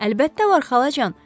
Əlbəttə var xalacan.